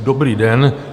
Dobrý den.